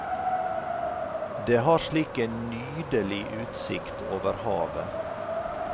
Det har slik en nydelig utsikt over havet.